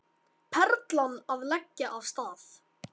Perlan að leggja af stað